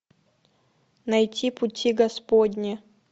найти пути господни